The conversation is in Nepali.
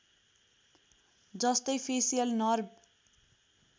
जस्तै फेसियल नर्भ